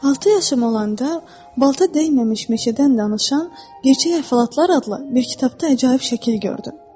Altı yaşım olanda balta dəyməmiş meşədən danışan gerçək əhvalatlar adlı bir kitabda əcaib şəkil gördüm.